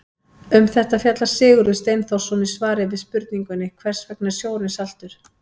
Um þetta fjallar Sigurður Steinþórsson í svari við spurningunni Hvers vegna er sjórinn saltur?